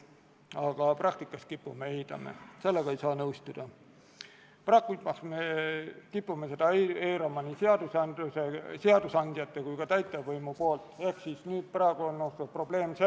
Oma k.a 21. oktoobri istungil otsustas riigikaitsekomisjon konsensuslikult, et eelnõu esitatakse teiseks lugemiseks Riigikogu täiskogu päevakorda k.a 6. novembriks ehk tänaseks.